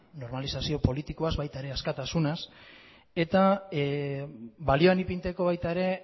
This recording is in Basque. normalizazio politikoaz baita ere askatasunaz eta balioan ipintzeko baita ere